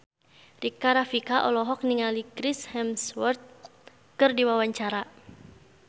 Rika Rafika olohok ningali Chris Hemsworth keur diwawancara